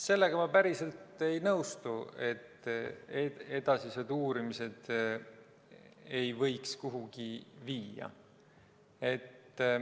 Sellega ma päriselt ei nõustu, et edasised uurimised ei võiks kuhugi viia.